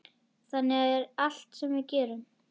Þannig er allt sem við gerum.